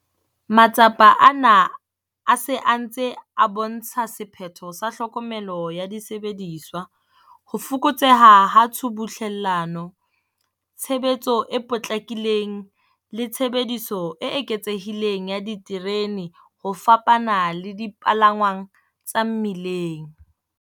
Matsapa ana a se a ntse a bo ntsha sephetho sa tlhokomelo ya disebediswa, ho fokotseha ha tshubuhlellano, tshebetso e potlakileng le tshebediso e eketsehileng ya diterene ho fapana le dipalangwang tsa mmileng.